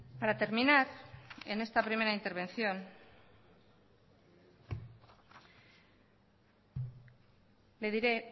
para terminar en esta primera intervención le diré